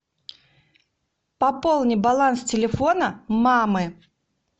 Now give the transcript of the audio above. пополни баланс телефона мамы